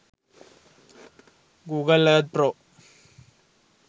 google earth pro